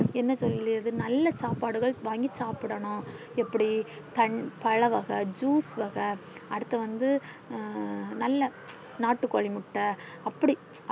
என்ன சொல்லியது நல்ல சாப்பாடுகள் வாங்கி சாப்டனும் பழ வகை juice வகை அடுத்து வந்து நல்ல நட்டு கோழி முட்டை அப்டி